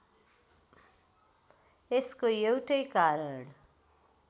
यसको एउटै कारण